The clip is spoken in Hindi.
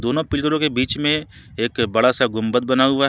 दोनों पिलरों के बीच में एक बड़ा सा गुंबद बना हुआ--